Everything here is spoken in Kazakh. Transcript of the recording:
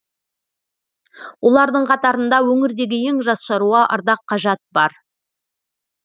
олардың қатарында өңірдегі ең жас шаруа ардақ қажат бар